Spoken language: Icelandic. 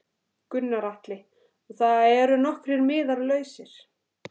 Gunnar Atli: Og það eru nokkrir miðar lausir?